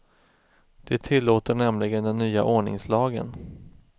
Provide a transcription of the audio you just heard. Det tillåter nämligen den nya ordningslagen.